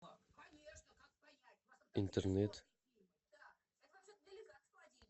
интернет